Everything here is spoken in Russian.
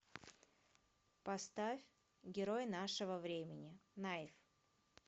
поставь герои нашего времени наив